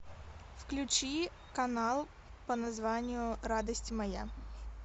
включи канал по названию радость моя